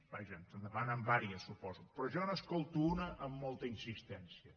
vaja ens en demanen diverses suposo però jo n’escolto una amb molta insistència